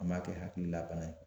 An m'a kɛ hakililabana ye.